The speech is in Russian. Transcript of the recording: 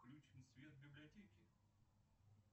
включим свет в библиотеке